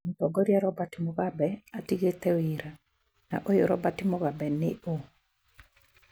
Mũtongoria Robert Mugambe atigĩte wĩra ,na ũyũ Robert Mugambe nĩ ũ?